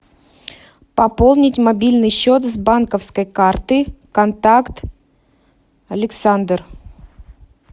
пополнить мобильный счет с банковской карты контакт александр